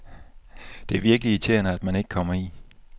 Det er virkelig irriterende, at man ikke kommer i